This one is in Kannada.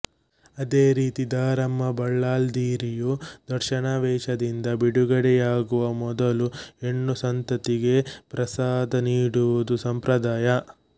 ಅದೇ ರೀತಿ ದಾರಮ್ಮ ಬಲ್ಲಾಲ್ದಿರಿಯು ದರ್ಶನಾವೇಶದಿಂದ ಬಿಡುಗಡೆಯಾಗುವ ಮೊದಲು ಹೆಣ್ಣ ಸಂತತಿಗೆ ಪ್ರಸಾದ ನೀಡುವುದು ಸಂಪ್ರದಾಯ